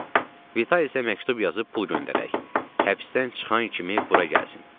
Vitalisə məktub yazıb pul göndərək, həbsdən çıxan kimi bura gəlsin.